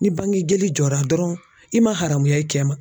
Ni bangejoli jɔra dɔrɔn i ma haramuya i cɛ ma